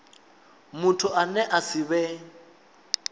muthu ane a si vhe